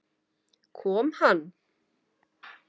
Kom hann?